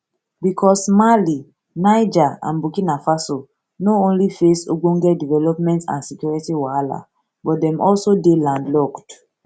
bicos mali niger and burkina faso no only face ogbonge development and security wahala but dem also dey landlocked